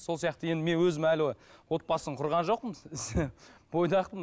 сол сияқты енді мен өзім әлі отбасын құрған жоқпын бойдақпын